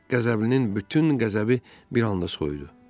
Qəzəblinin bütün qəzəbi bir anda soyudu.